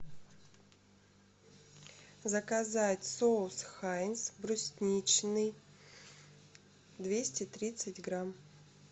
заказать соус хайнц брусничный двести тридцать грамм